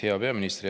Hea peaminister!